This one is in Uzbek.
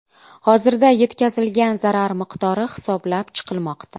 Hozirda yetkazilgan zarar miqdori hisoblab chiqilmoqda.